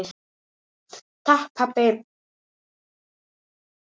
Takk pabbi.